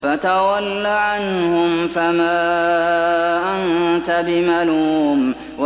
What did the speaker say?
فَتَوَلَّ عَنْهُمْ فَمَا أَنتَ بِمَلُومٍ